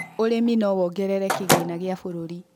ũrĩmi no wogerere kĩgĩna gĩa bururi